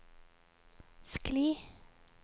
skli